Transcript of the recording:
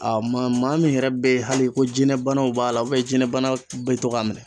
A maa maa min yɛrɛ bɛ hali ko jinɛ banaw b'a la jinɛ banaw bɛ to k'a minɛ.